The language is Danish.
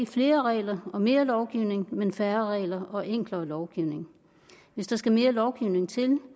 flere regler og mere lovgivning men for færre regler og enklere lovgivning hvis der skal mere lovgivning til